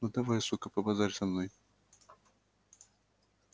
ну давай сука побазарь со мной